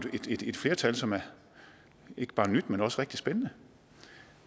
et flertal som er ikke bare nyt men også rigtig spændende